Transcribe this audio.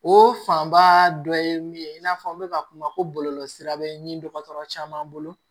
O fanba dɔ ye min ye i n'a fɔ n bɛ ka kuma ko bɔlɔlɔ sira bɛ ɲini dɔgɔtɔrɔ caman bolo